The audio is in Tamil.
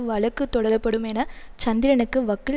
வழ்க்கு தொடரப்படும் என சந்திரனுக்கு வக்கில்